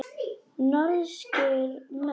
Norskir menn.